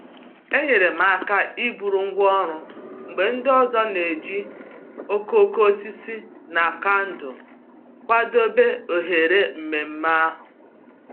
Enyere m aka iburu ngwá ọrụ mgbe ndị ọzọ na-eji okooko osisi na kandụl kwadebe oghere ememe ahụ